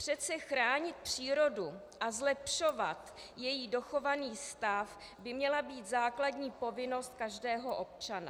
Přece chránit přírodu a zlepšovat její dochovaný stav, by měla být základní povinnost každého občana.